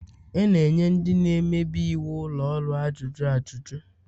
A na-enye ndị na-emebi iwu ụlọ ọrụ ajụjụ ajuju